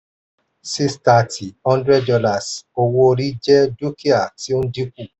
six thirty hundred dollars owó-orí jẹ dúkìá tí ó dínkù.